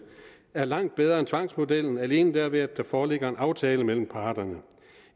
er langt bedre end tvangsmodellen alene derved at der foreligger en aftale mellem parterne